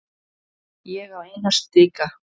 Ég á eina slíka.